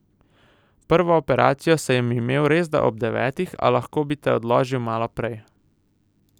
Prvo operacijo sem imel resda ob devetih, a lahko bi te odložil malo prej.